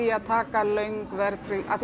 að taka löng verðtryggð af því